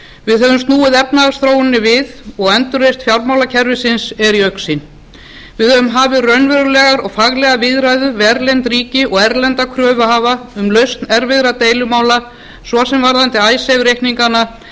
við höfum snúið efnahagsþróuninni við og endurreisn fjármálakerfisins er í augsýn við höfum hafið raunverulegar og faglegar viðræður við erlend ríki og erlenda kröfuhafa um lausn erfiðra deilumála svo sem varðandi icesave reikningana